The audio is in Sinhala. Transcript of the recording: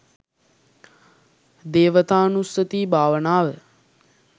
දේවතානුස්සති භාවනාව.